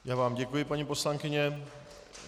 Já vám děkuji, paní poslankyně.